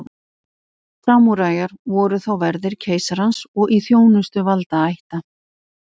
Samúræjar voru þá verðir keisarans og í þjónustu valdaætta.